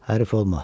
Hərif olma.